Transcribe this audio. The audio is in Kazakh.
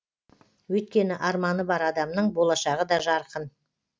өйткені арманы бар адамның болашағы да жарқын